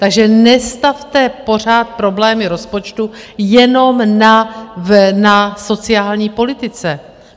Takže nestavte pořád problémy rozpočtu jenom na sociální politice.